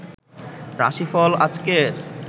রাশি ফল আজকের